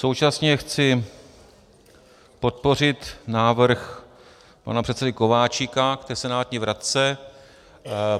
Současně chci podpořit návrh pana předsedy Kováčika k té senátní vratce.